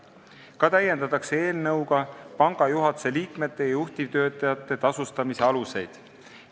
Eelnõuga täiendatakse ka panga juhatuse liikmete ja juhtivtöötajate tasustamise aluseid.